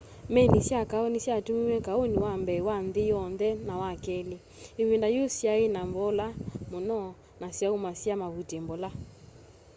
meli sya kaũ ni syatumiiwe kaũni wa mbee wa nthi yonthe na wa keli ivinda yiũ syai na mbola muno na syaumasya mavuti mbola